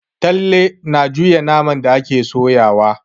Talle na juya naman da take soyawa.